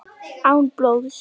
Án blóðs.